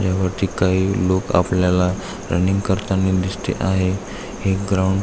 ह्या वरती काही लोक आपल्याला रनिंग करतानी दिसती आहे हे ग्राउंड --